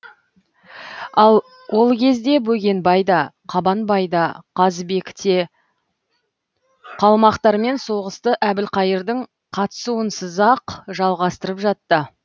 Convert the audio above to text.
ал ол кезде бөгенбай да қабанбай да қазыбек те қалмақтармен соғысты әбілқайырдың қатысуынсызақ жалғастырып жатты